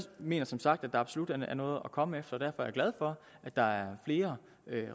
mener som sagt at der absolut er noget at komme efter og er glad for at der er flere